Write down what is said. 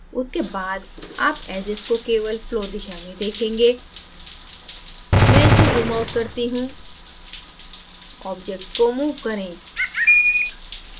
उसके बाद आप edges को केवल flow दिशा में देखेंगे मैं इसे zoomout करता हूँ object को move करें